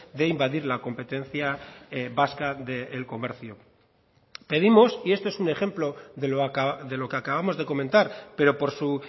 de invadir la competencia vasca del comercio pedimos y esto es un ejemplo de lo que acabamos de comentar pero por su